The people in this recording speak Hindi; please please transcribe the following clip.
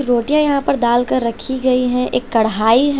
रोटियां यहां पर दाल कर रखी गयी हैं एक कढ़ाई है।